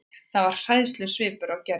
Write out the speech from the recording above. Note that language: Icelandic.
Það var hræðslusvipur á Gerði.